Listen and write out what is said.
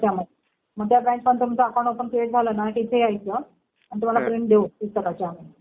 त्याच्यामध्ये. मग त्या ब्रॅन्चमध्ये तुमचं अकाउंट ओपन करणं झालं ना कि इथं यायचं मग तुम्हाला प्रिंट देऊ पुस्तकाच्या आम्ही.